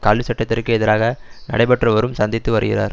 கல்வி சட்டத்திற்கு எதிராக நடைபெற்றுவரும் சந்தித்து வருகிறது